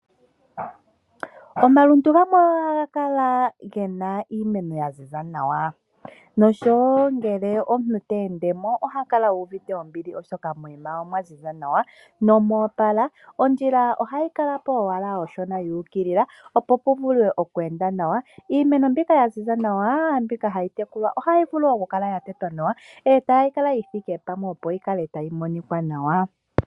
Omalundu gamwe ohaga kala gena iimeno yaziza nawa noshowoo ngele omuntu ote endemo, oha kala yuuvite ombili oshoka omwa ziza nawa nomoopala. Ondjila ohayi kalapo owala oonshona yuukilila opo puvulwe okweendwa nawa. Iimeno mbyika ohayi kala yaziza nawa, yo ohayi tekulwa ohayi vulu wo okukala yatetwa nawa , etayi kala yithike pamwe opo yikale tayi monika nawa.